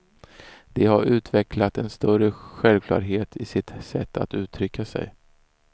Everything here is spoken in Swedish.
De har utvecklat en större självklarhet i sitt sätt att uttrycka sig.